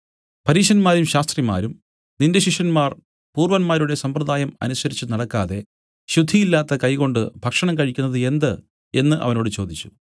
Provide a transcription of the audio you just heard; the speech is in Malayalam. പരീശന്മാരും ശാസ്ത്രിമാരും നിന്റെ ശിഷ്യന്മാർ പൂർവ്വന്മാരുടെ സമ്പ്രദായം അനുസരിച്ചുനടക്കാതെ ശുദ്ധിയില്ലാത്ത കൈകൊണ്ട് ഭക്ഷണം കഴിക്കുന്നത് എന്ത് എന്നു അവനോട് ചോദിച്ചു